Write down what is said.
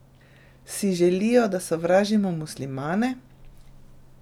Si želijo, da sovražimo muslimane?